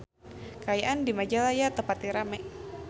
Kaayaan di Majalaya teu pati rame